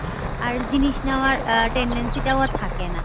আর জিনিস নেয়ার tendency টাও আর থাকে না